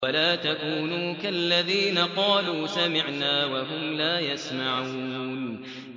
وَلَا تَكُونُوا كَالَّذِينَ قَالُوا سَمِعْنَا وَهُمْ لَا يَسْمَعُونَ